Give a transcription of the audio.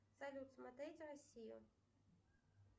салют смотреть россию